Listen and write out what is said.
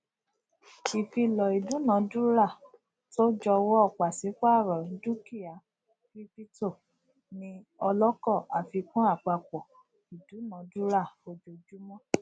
ìfilọ idunadurato jọwọ pàsípàrọ dukia kiripito ni ọlọkọ àfikún àpapọ idunadura ojojumọ